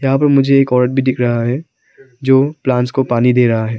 यहाँ पर मुझे एक औरत भी दिख रहा है जो प्लांट्स को पानी दे रहा है।